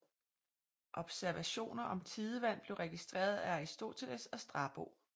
Observationer om tidevand blev registreret af Aristoteles og Strabo